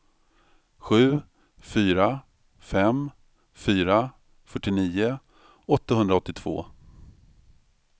sju fyra fem fyra fyrtionio åttahundraåttiotvå